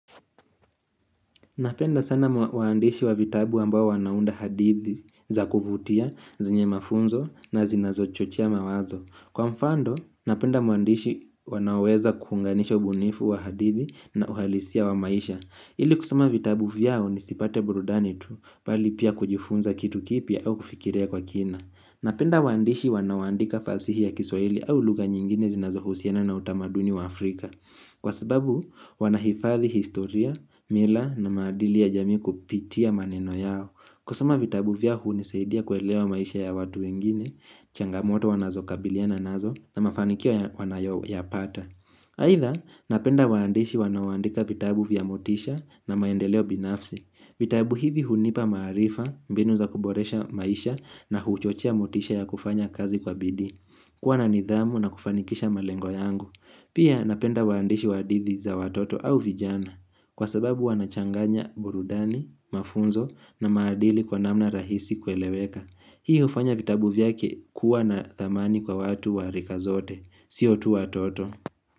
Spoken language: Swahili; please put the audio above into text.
Napenda sana waandishi wa vitabu ambao wanaunda hadithi za kuvutia zenye mafunzo na zinazo chochea mawazo. Kwa mfando, napenda muandishi wanaoweza kuunganisha ubunifu wa hadithi na uhalisia wa maisha. Ili kusoma vitabu vyao ni sipate burudani tu bali pia kujifunza kitu kipya au kufikilia kwa kina. Napenda wandishi wanaoandika fasihi ya kiswahili au lugha nyingine zinazo husiana na utamaduni wa Afrika. Kwa sababu, wanahifadhi historia, mila na maadili ya jamii kupitia maneno yao kusoma vitabu vya hunisaidia kuelewa maisha ya watu wengine, changamoto wanazokabiliana nazo na mafanikio wanayo yapata Haidha, napenda waandishi wanaoandika vitabu vya motisha na maendeleo binafsi vitabu hivi hunipa maarifa, mbinu za kuboresha maisha na huchochea motisha ya kufanya kazi kwa bidii kuwa nanidhamu na kufanikisha malengo yangu Pia napenda waandishi wahadi za watoto au vijana kwa sababu wanachanganya burudani, mafunzo na maadili kwa namna rahisi kueleweka. Hii ufanya vitabu vyake kuwa na thamani kwa watu warika zote. Sio tu watoto.